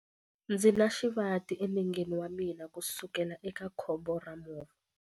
Ndzi na xivati enengeni wa mina kusukela eka khombo ra movha.